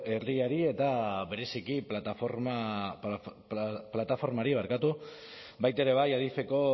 herriari eta bereziki plataformari baita ere adifeko